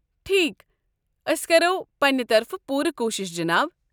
ٹھیكھ، أسۍ کرو پنٛنہ طرفہٕ پوٗرٕ کوٗشش، جناب۔